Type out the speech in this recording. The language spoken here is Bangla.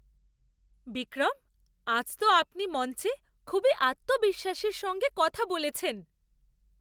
বিক্রম! আজ তো আপনি মঞ্চে খুবই আত্মবিশ্বাসের সঙ্গে কথা বলেছেন!